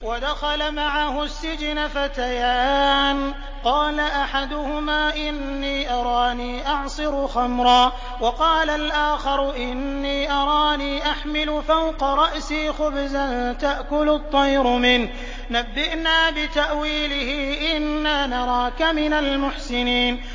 وَدَخَلَ مَعَهُ السِّجْنَ فَتَيَانِ ۖ قَالَ أَحَدُهُمَا إِنِّي أَرَانِي أَعْصِرُ خَمْرًا ۖ وَقَالَ الْآخَرُ إِنِّي أَرَانِي أَحْمِلُ فَوْقَ رَأْسِي خُبْزًا تَأْكُلُ الطَّيْرُ مِنْهُ ۖ نَبِّئْنَا بِتَأْوِيلِهِ ۖ إِنَّا نَرَاكَ مِنَ الْمُحْسِنِينَ